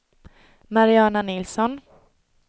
Mariana Nilsson